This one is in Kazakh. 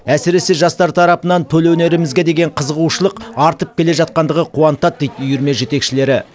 әсіресе жастар тарапынан төл өнерімізге деген қызығушылық артып келе жатқандығы қуантады дейді үйірме жетекшілері